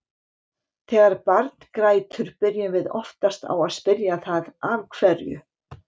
Þegar barn grætur byrjum við oftast á að spyrja það af hverju.